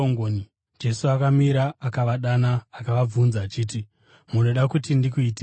Jesu akamira akavadana, akavabvunza achiti, “Munoda kuti ndikuitireiko?”